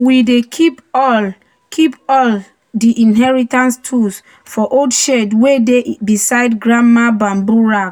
"we dey keep all keep all di inheritance tools for old shed wey dey beside grandma bamboo rack."